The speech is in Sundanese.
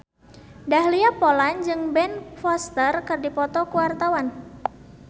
Dahlia Poland jeung Ben Foster keur dipoto ku wartawan